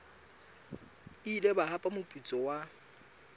ile ba hapa moputso wa